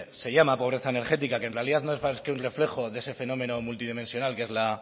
se llama pobreza energética que en realidad no es más que un reflejo de ese fenómeno multidimensional que es la